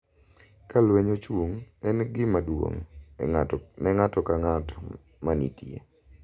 Ka lweny ochung’, en gima duong’ ne ng’ato ka ng’ato ma nitie